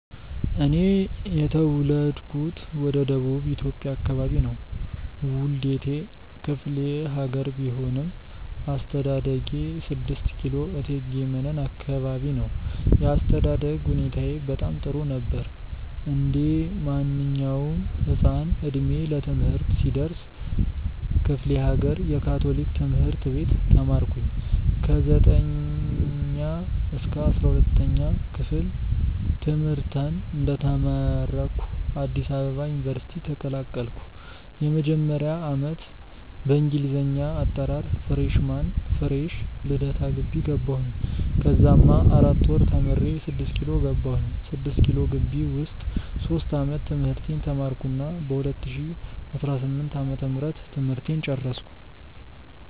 እኔ የተውለድኩት ወደ ደቡብ ኢትዮጵያ አከባቢ ነው። ዉልዴቴ ክፍሌሀገር ቢሆንም አስተዳደጌ 6 ኪሎ እቴጌ መነን አከባቢ ነው። የአስተዳደግ ሁኔታዬ በጣም ጥሩ ነበር። እንዴማንኛዉም ህፃን እድሜ ለትምህርት ሲደርስ ክፍሌሀገር የ ካቶሊክ ትምህርት ቤት ተማርኩኝ። ከ 9ኛ-12ኛ ክፍል ትምህርተን እንደተመረኩ አዲስ አበባ ዩኒቨርሲቲ ተቀላቀልኩ። የመጀመሪያ ዓመት በእንግሊዘኛ አጠራር freshman (ፍሬሽ ) ልደታ ግቢ ገባሁኝ። ከዛማ 4 ወር ተምሬ 6ኪሎ ገባሁኝ። 6ኪሎ ግቢ ዉስጥ ሶስት ዓመት ትምህርቴን ተማርኩና በ 2018 ዓ/ም ትምህርቴን ጨረስኩ።